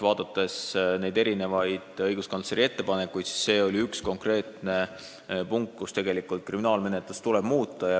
Vaadates neid õiguskantsleri erinevaid ettepanekuid, oli see üks konkreetne punkt, mille põhjal tuleks muuta kriminaalmenetlust.